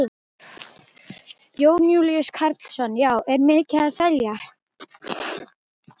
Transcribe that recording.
Jón Júlíus Karlsson: Já, er mikið að seljast?